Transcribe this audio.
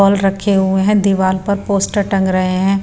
Ball रखे हुए हैं दीवार पर पोस्टर टंग रहे हैं।